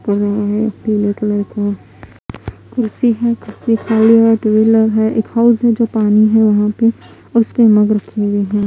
पीले कलर का कुर्सी है कुर्सी खड़े हैं। टू व्हीलर है। एक हाउस है जो पानी वहा पे उसपे मग रखा है।